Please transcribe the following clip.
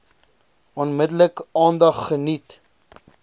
onmiddellik aandag geniet